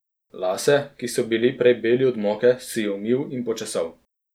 Lase, ki so bili prej beli od moke, si je umil in počesal.